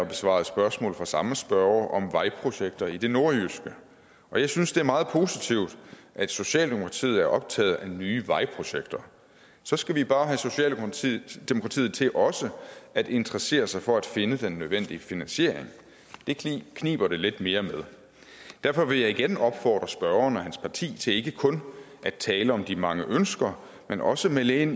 besvarede spørgsmål fra samme spørger om vejprojekter i det nordjyske og jeg synes det er meget positivt at socialdemokratiet er optaget af nye vejprojekter så skal vi bare have socialdemokratiet til også at interessere sig for at finde den nødvendige finansiering det kniber det lidt mere med derfor vil jeg igen opfordre spørgeren og hans parti til ikke kun at tale om de mange ønsker men også melde ind